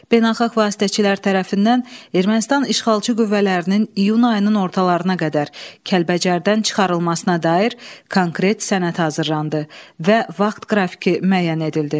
Beynəlxalq vasitəçilər tərəfindən Ermənistan işğalçı qüvvələrinin iyun ayının ortalarına qədər Kəlbəcərdən çıxarılmasına dair konkret sənəd hazırlandı və vaxt qrafiki müəyyən edildi.